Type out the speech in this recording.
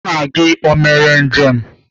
Nna gị o mere njem?